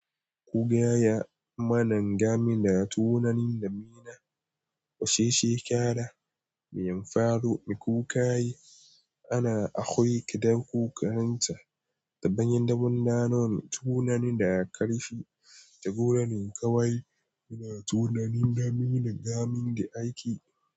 Ku gaya mana game da tunanin damina waccan shekara meya faru, me ku ka yi? Ana akwai kiɗa kuka manta da bayan damuna nono tunani da aka ƙarfi da gonanin ƙawai suna tunanin damina gamin da aiki.